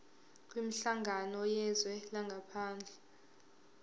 kwinhlangano yezwe langaphandle